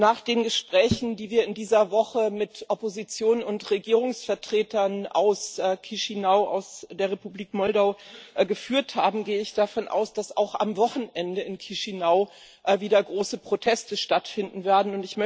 Nach den Gesprächen, die wir in dieser Woche mit Opposition und Regierungsvertretern aus Chişinău, aus der Republik Moldau geführt haben, gehe ich davon aus, dass auch am Wochenende in Chişinău wieder große Proteste stattfinden werden.